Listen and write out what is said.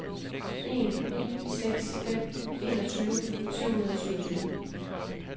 en ni seks fem enogtyve syv hundrede og syvogtyve